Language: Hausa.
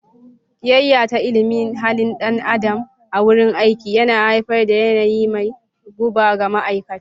Kiyayya ta ilimin halin dan adam a wurin aiki yana haifar da yanayi mai guba ga ma'aikata.